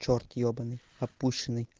черт ебанный опущеный